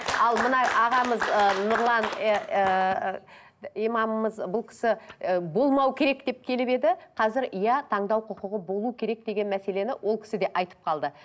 ал мына ағамыз ы нұрлан ыыы имамымыз бұл кісі ы болмау керек деп келіп еді қазір иә таңдау құқығы болу керек деген мәселені ол кісі де айтып қалды